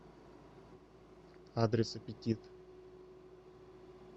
адрес аппетит